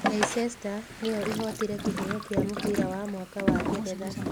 Leicester nĩyo ĩhootire kĩheo kĩa mũbira wa mwaka wa Ngeretha